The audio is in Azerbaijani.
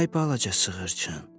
Ay balaca sığırçın.